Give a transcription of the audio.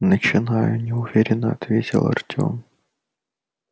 начинаю неуверенно ответил артём